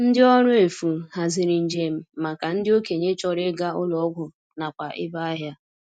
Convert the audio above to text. Ndi ọrụ efu haziri njem maka ndị okenye chọrọ ịga ụlọ ọgwụ nakwa ebe ahịa.